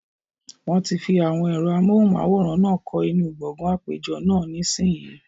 Wọ́n ti fi àwọn ẹ̀rọ amóhùnmáwòrán náà kọ́ inú gbọgán àpéjọ náà, nísìínyi